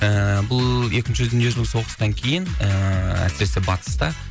ііі бұл екінші дүниежүзілік соғыстан кейін ііі әсіресе батыста